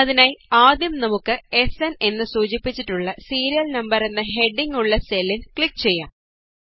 അതിനായി ആദ്യം നമുക്ക് എസ്എന് എന്ന് സൂചിപ്പിച്ചിട്ടുള്ള സീരിയല് നമ്പര് എന്ന ഹെഡിംഗ് ഉള്ള സെല്ലില് ക്ലിക് ചെയ്യാം